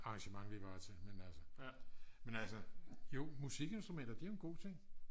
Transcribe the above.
arrangement vi var til mens altså jo musikinstrumenter det er jo en god ting